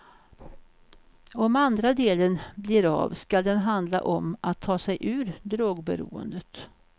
Om andra delen blir av skall den handla om att ta sig ur drogberoendet.